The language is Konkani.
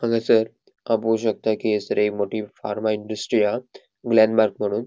हांगासर हांव पोळो शकता कि हयसर एक मोठी फार्मा इंडस्ट्री हा ग्लेनमार्क म्हणून.